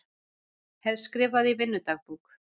Hef skrifað í vinnudagbók